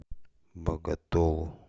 боготолу